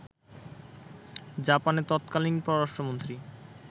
জাপানের তৎকালীন পররাষ্ট্রমন্ত্রী